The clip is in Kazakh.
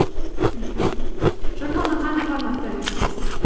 мхм журналды қандай форматта жүргізесің